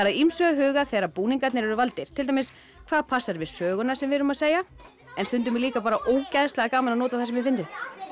að ýmsu að huga þegar búningarnir eru valdir til dæmis hvað passar við söguna sem við erum að segja stundum er líka ógeðslega gaman að nota það sem er fyndið